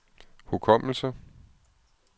hukommelse